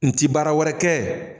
N ti baara wɛrɛ kɛ